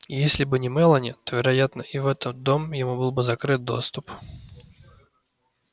и если бы не мелани то вероятно и в этот дом ему был бы закрыт доступ